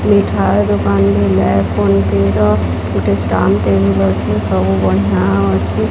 ମିଠା ଦୋକାନ୍ ରେ ଲେ ଫୋନ୍ ପେ ର ଗୋଟେ ଷ୍ଟାମ୍ପ୍ ଟେବୁଲ୍ ଅଛି ସବୁ ବଢ଼ିଁଆ ଅଛି।